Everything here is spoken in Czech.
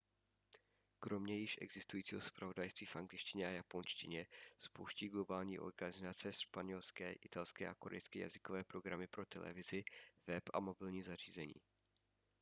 kromě již existujícího zpravodajství v angličtině a japonštině spouští globální organizace španělské italské a korejské jazykové programy pro televizi web a mobilní zařízení